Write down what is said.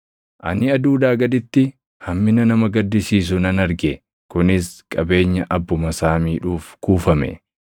Ani aduudhaa gaditti hammina nama gaddisiisu nan arge; kunis: qabeenya abbuma isaa miidhuuf kuufame,